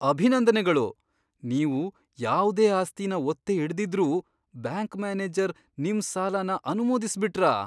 ಅಭಿನಂದನೆಗಳು! ನೀವು ಯಾವ್ದೇ ಆಸ್ತಿನ ಒತ್ತೆ ಇಡ್ದಿದ್ರೂ ಬ್ಯಾಂಕ್ ಮ್ಯಾನೇಜರ್ ನಿಮ್ ಸಾಲನ ಅನುಮೋದಿಸ್ಬಿಟ್ರಾ?!